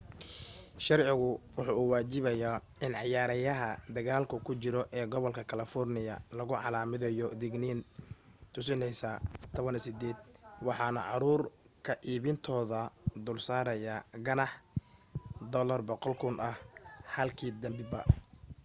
sharcigu waxa uu waajibayaa in ciyaaraha dagaalku ku jiro ee gobolka kalafoorniya lagu calaamadiyo digniin tusinaysa 18 waxaanu caruur ka iibintooda dulsaarayaa ganaax $1000 ah halkii denbiba